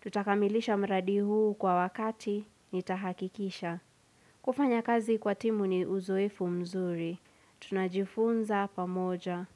Tutakamilisha mradi huu kwa wakati, nitahakikisha. Kufanya kazi kwa timu ni uzoefu mzuri. Tunajifunza pamoja.